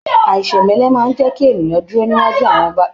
Aisemẹlẹ máa n jẹ kí ènìyàn dúró níwájú àwọn ọba tí kìí ṣe ènìyàn lásán.